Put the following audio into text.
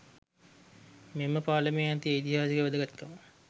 මෙම පාලමේ ඇති ඓතිහාසික වැදගත්කම